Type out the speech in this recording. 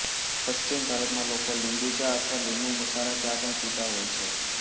પશ્ચિમ ભારતમાં લોકો લીંબુ ચા અથવા લીંબુ મસાલા ચા પણ પીતા હોય છે